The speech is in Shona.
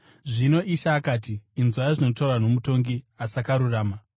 Zvino Ishe akati, “Inzwai zvinotaurwa nomutongi asakarurama.